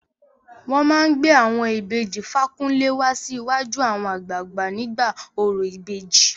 Wọn máa gbé àwọn ìbejì Fakunle wá síwájú àwọn àgbààgbà nígbà orò ìbejì.